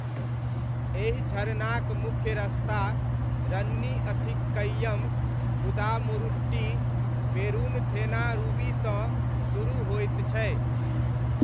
एहि झरनाक मुख्य रस्ता रन्नी अथिक्कयम कुदामुरुट्टी पेरूनथेनारूवीसँ सुरुह होइत छै।